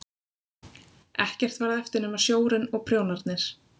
Ekkert varð eftir nema sjórinn og prjónarnir.